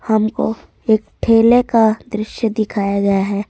हमको एक ठेले का दृश्य दिखाया गया है।